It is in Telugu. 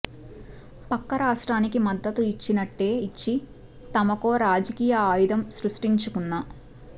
పక్క రాష్ట్రానికి మద్దతు ఇచ్చినట్టే ఇచ్చి తమకో రాజకీయ ఆయుధం సృష్టించుకున్న